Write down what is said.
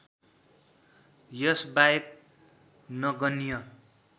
यस बाहेक नगन्य